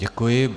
Děkuji.